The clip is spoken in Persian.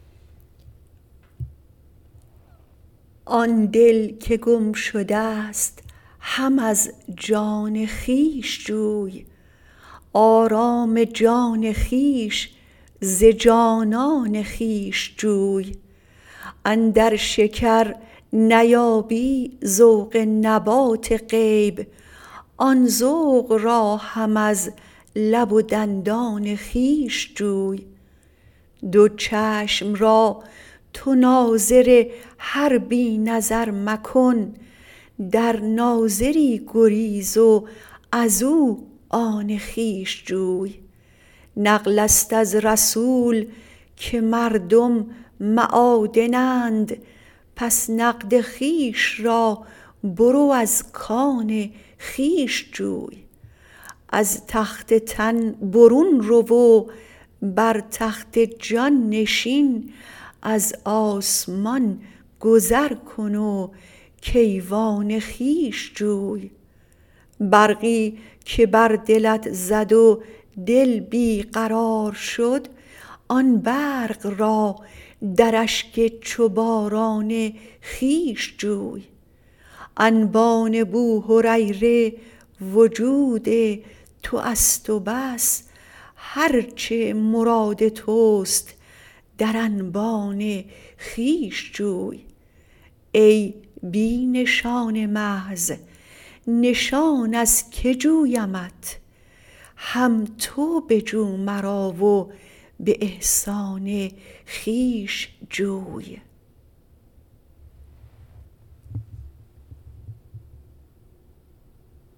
آن دل که گم شده ست هم از جان خویش جوی آرام جان خویش ز جانان خویش جوی اندر شکر نیابی ذوق نبات غیب آن ذوق را هم از لب و دندان خویش جوی دو چشم را تو ناظر هر بی نظر مکن در ناظری گریز و ازو آن خویش جوی نقلست از رسول که مردم معادنند پس نقد خویش را برو از کان خویش جوی از تخت تن برون رو و بر تخت جان نشین از آسمان گذر کن و کیوان خویش جوی برقی که بر دلت زد و دل بی قرار شد آن برق را در اشک چو باران خویش جوی انبان بوهریره وجود توست و بس هر چه مراد توست در انبان خویش جوی ای بی نشان محض نشان از کی جویمت هم تو بجو مرا و به احسان خویش جوی